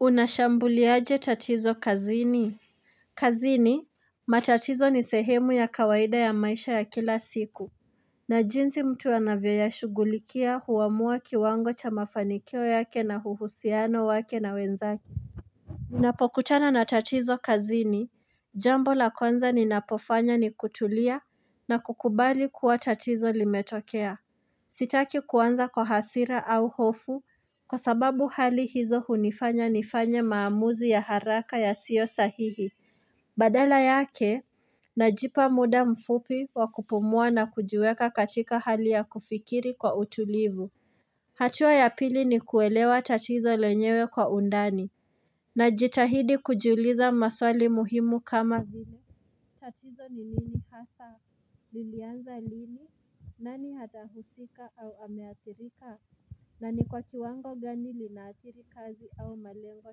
Unashambuliaje tatizo kazini? Kazini, matatizo ni sehemu ya kawaida ya maisha ya kila siku na jinsi mtu anavyoyashughulikia huamua kiwango cha mafanikio yake na huhusiano wake na wenzake Unapokutana na tatizo kazini, jambo la kwanza ninapofanya ni kutulia na kukubali kuwa chatizo limetokea Sitaki kuanza kwa hasira au hofu kwa sababu hali hizo hunifanya nifanyemaamuzi ya haraka yasio sahihi Badala yake najipa muda mfupi wa kupumua na kujiweka katika hali ya kufikiri kwa utulivu hatua ya pili ni kuelewa tatizo lenyewe kwa undani Najitahidi kujiuliza maswali muhimu kama viile tatizo ni nini lilianza lini nani atahusika au ameathirika. Na ni kwa kiwango gani linaathiri kazi au malengo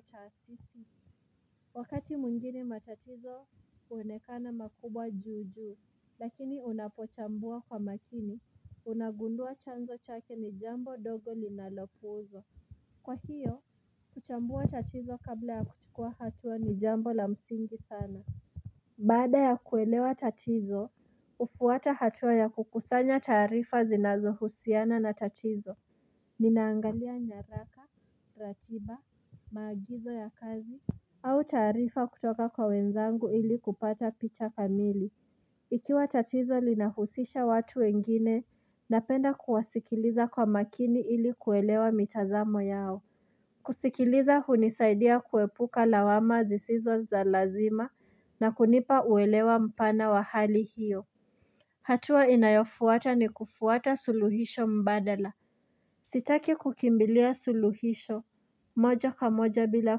taasisi. Wakati mwingine matatizo huonekana makubwa juu juu. Lakini unapochambua kwa makini Unagundua chanzo chake ni jambo dogo ninalopuuzwa. Kwa hiyo, kuchambua tatizo kabla ya kuchukua hatua ni jambo la msingi sana Bada ya kuelewa tatizo, hufuata hatua ya kukusanya taarifa zinazohusiana na tatizo. Ninaangalia nyaraka, ratiba, maagizo ya kazi au taarifa kutoka kwa wenzangu ili kupata picha kamili Ikiwa tatizo linahusisha watu wengine Napenda kuwasikiliza kwa makini ili kuelewa mitazamo yao kusikiliza hunisaidia kuepuka lawama zisizo za lazima na kunipa uelewa mpana wa hali hiyo hatua inayofuata ni kufuata suluhisho mbadala Sitaki kukimbilia suluhisho moja kwa moja bila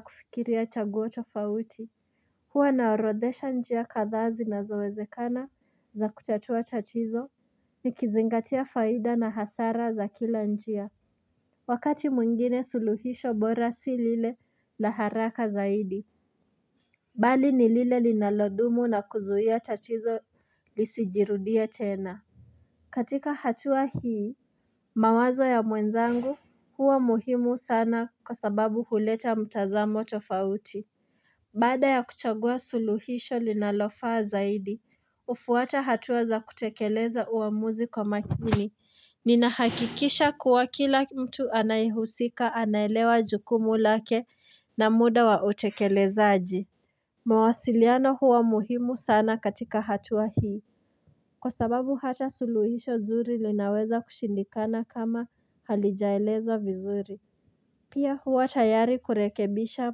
kufikiria chaguo tofauti hua naorodhesha njia kadhaa zinazowezekana za kutatua tatizo nikizingatia faida na hasara za kila njia Wakati mwingine suluhisho bora si lile la haraka zaidi Bali ni lile linalodumu na kuzuia tatizo lisijirudie tena. Katika hatua hii mawazo ya mwenzangu huwa muhimu sana kwa sababu huleta mtazamo tofauti Bada ya kuchagua suluhisho linalofaa zaidi hufuata hatua za kutekeleza uamuzi kwa makini Ninahakikisha kuwa kila mtu anayehusika anaelewa jukumu lake na muda wa utekelezaji mawasiliano huwa muhimu sana katika hatua hii Kwa sababu hata suluhisho zuri linaweza kushindikana kama halijaelezwa vizuri Pia huwa tayari kurekebisha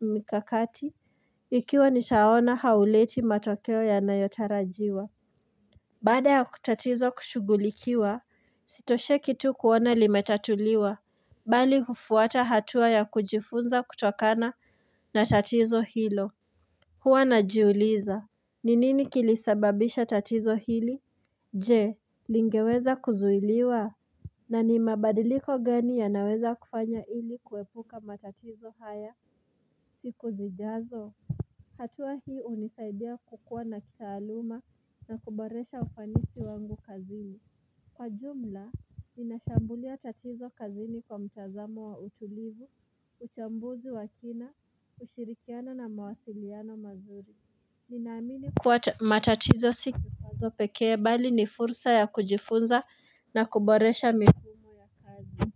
mikakati ikiwa nitaona hauleti matokeo yanayotarajiwa Baada ya tatizo kushughulikiwa sitosheki tu kuona limetatuliwa Bali hufuata hatua ya kujifunza kutokana na tatizo hilo huwa najiuliza ni nini kilisababisha tatizo hili Je, lingeweza kuzuiliwa na ni mabadiliko gani yanaweza kufanya ili kuepuka matatizo haya siku zijazo hatua hii hunisaidia kukua na kitaaluma na kuboresha ufanisi wangu kazini Kwa jumla, ninashambulia tatizo kazini kwa mtazamo wa utulivu, uchambuzi wa kina, ushirikiano na mawasiliano mazuri. Ninaamini kuwa matatizo si kikwazo pekee bali ni fursa ya kujifunza na kuboresha mifumo ya kazi.